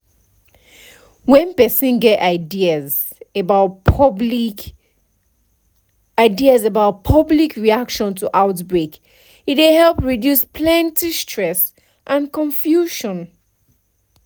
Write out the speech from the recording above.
when person get ideas about public ideas about public reaction to outbreak e dey help reduce plenty stress and confusion